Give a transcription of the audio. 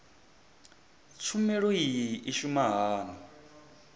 tshumelo iyi i shuma hani